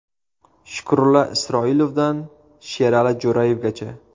Shukrullo Isroilovdan Sherali Jo‘rayevgacha.